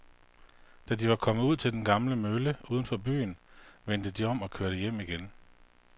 Da de var kommet ud til den gamle mølle uden for byen, vendte de om og kørte hjem igen.